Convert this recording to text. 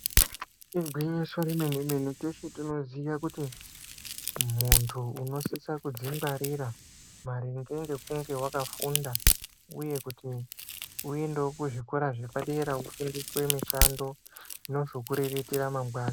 Igwinyiso remene mene munoziva kuti muntu wekuzvingwarira maringe nekunge vakafunda uye muntu uendewo kuzvikora zvepadera iriko mishando inozokurerekera mangwani.